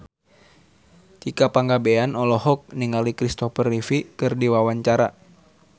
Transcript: Tika Pangabean olohok ningali Kristopher Reeve keur diwawancara